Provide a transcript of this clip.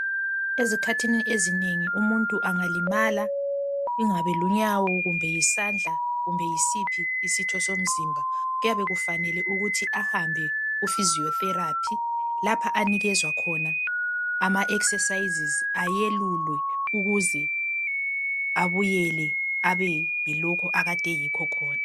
ezikhathini ezinengi umuntu engalimala kungabe lunyawo kumbe yisandla kumbe yisiphi isitho somzimba kuyabe kufanele ukuthi ahambe ku physiotherapy lapha anikezwa khona ama exercises ayelulwe ukuze abuyele abeyilokhu akade eyikho khona